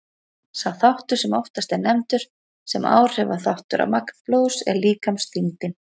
Sá þáttur sem oftast er nefndur sem áhrifaþáttur á magn blóðs er líkamsþyngdin.